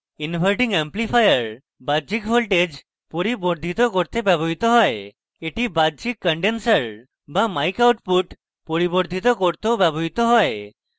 inverting amplifier বাহ্যিক voltages পরিবর্ধিত করতে ব্যবহৃত হয় এটি বাহ্যিক condenser be mic output পরিবর্ধিত করতেও ব্যবহৃত হয়